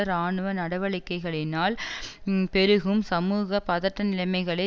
இராணுவ நடவடிக்கைகளினால் பெருகும் சமூக பதட்டநிலைமைகளை